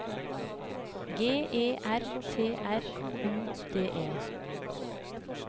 G E R T R U D E